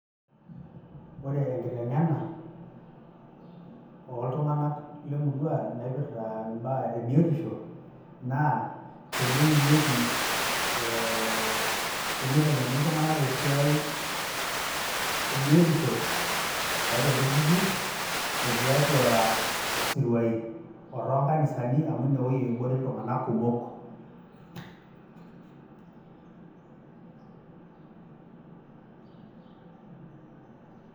Ore enkiteng'ena oltung'anak lemurua naipirta imbaa ebiotisho, naa teneimieki eh teniteng'eni iltung'anak tesiai ebiotisho, tiatua ilturrurri, o tiatua isiruai otoonkanisani, amu inewoi ebore iltung'anak kumok.